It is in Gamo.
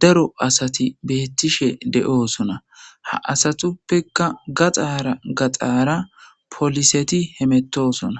daro asati beettishe de7osuna ha asatuppeka gaxaara gaxaara poliseti hemettosona